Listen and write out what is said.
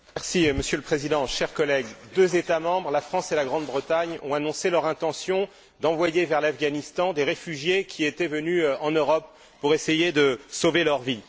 Monsieur le Président, chers collègues, deux États membres la France et la Grande Bretagne ont annoncé leur intention d'envoyer vers l'Afghanistan des réfugiés qui étaient venus en Europe pour essayer de sauver leur vie.